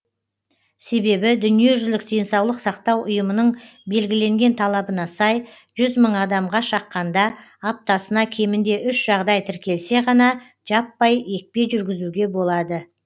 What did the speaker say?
себебі дүниежүзілік денсаулық сақтау ұйымының белгіленген талабына сай жүз мың адамға шаққанда аптасына кемінде үш жағдай тіркелсе ғана жаппай екпе жүргізуге болады